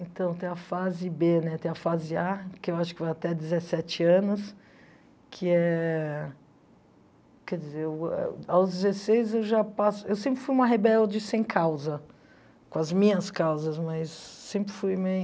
Então, tem a fase bê né, tem a fase á, que eu acho que vai até dezessete anos, que é... Quer dizer, ao a aos dezesseis eu já passo... Eu sempre fui uma rebelde sem causa, com as minhas causas, mas sempre fui meio...